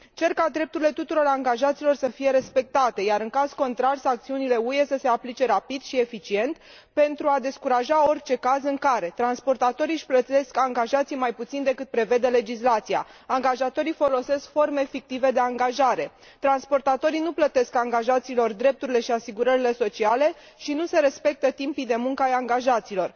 Cer ca drepturile tuturor angajaților să fie respectate, iar în caz contrar sancțiunile UE să se aplice rapid și eficient pentru a descuraja orice caz în care transportatorii își plătesc angajații mai puțin decât prevede legislația, angajatorii folosesc forme fictive de angajare, transportatorii nu plătesc angajaților drepturile și asigurările sociale și nu se respectă timpii de muncă ai angajaților.